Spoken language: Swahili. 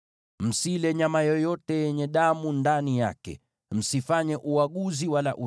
“ ‘Msile nyama yoyote yenye damu ndani yake. “ ‘Msifanye uaguzi wala uchawi.